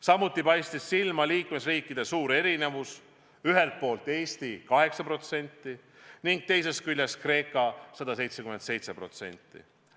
Samuti paistis silma liikmesriikide suur erinevus – ühelt poolt Eesti 8% ja teiselt poolt Kreeka 177%.